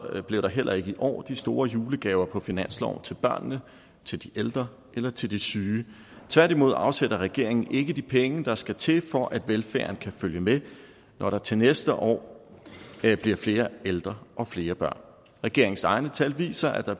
bliver der heller ikke i år de store julegaver på finansloven til børnene til de ældre eller til de syge tværtimod afsætter regeringen ikke de penge der skal til for at velfærden kan følge med når der til næste år bliver flere ældre og flere børn regeringens egne tal viser at der